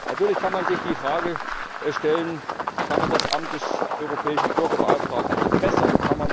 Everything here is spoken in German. Natürlich kann man sich die Frage stellen Kann man das Amt des Europäischen Bürgerbeauftragten verbessern?